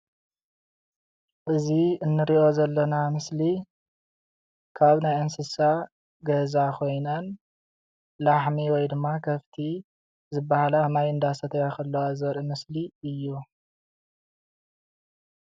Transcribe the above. እዚ እንሪኦ ዘለና ምስሊ ካብ ናይ እንስሳ ገዛ ኾይነን ላሕሚ ወይ ድማ ከፍቲ ዝባሃላ ማይ እንዳሰተያ ከላዋ ዘርኢ ምስሊ እዩ።